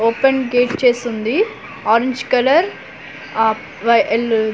open gate చేసుంది orange colour ఆ వై ఎల్ --